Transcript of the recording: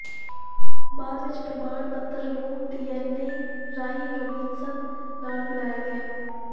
ਬਾਅਦ ਵਿਚ ਪ੍ਰਮਾਣ ਪੱਤਰ ਨੂੰ ਡੀਐਨਏ ਰਾਹੀਂ ਰੌਬਿਨਸਨ ਨਾਲ ਮਿਲਾਇਆ ਗਿਆ